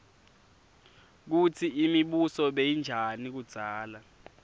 kutsi imibuso beyinjani kudzala